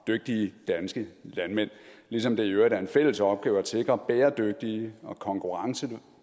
dygtige danske landmænd ligesom det i øvrigt er en fælles opgave at sikre bæredygtige og konkurrencedygtige